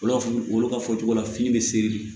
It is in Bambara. Olu b'a fɔ olu ka fɔ cogo la fini bɛ seri